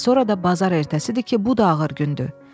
Daha sonra da bazar ertəsidir ki, bu da ağır gündür.